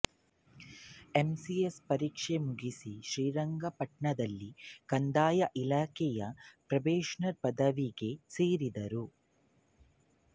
M C S ಪರೀಕ್ಷೆ ಮುಗಿಸಿ ಶ್ರೀರಂಗಪಟ್ಟಣದಲ್ಲಿ ಕಂದಾಯದ ಇಲಾಖೆಯಲ್ಲಿ ಪ್ರೊಬೇಷನರ್ ಪದವಿಗೆ ಸೇರಿದರು